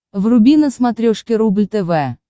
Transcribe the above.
вруби на смотрешке рубль тв